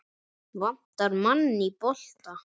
Vantar mann í bolta?